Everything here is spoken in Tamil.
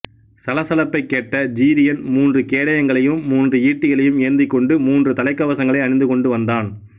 சலசலப்பைக் கேட்ட ஜிரியன் மூன்று கேடயங்களையும் மூன்று ஈட்டிகளையும் ஏந்திக்கொண்டு மூன்று தலைக்கவசங்களை அணிந்துகொண்டு வந்தான்